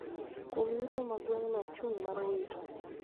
kuom yuto ma gweng'no ochung' mar wito